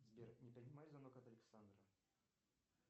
сбер не принимай звонок от александра